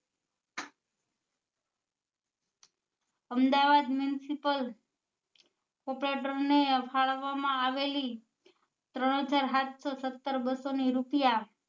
Ahmedabad municipal corporator ને ફાળવવા માં આવેલી ત્રણ હજાર સાતસો સત્તર બસો ને રૂપિયા